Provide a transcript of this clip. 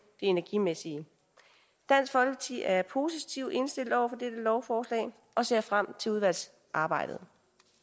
energimæssige dansk folkeparti er positivt indstillet over for lovforslag og ser frem til udvalgsarbejdet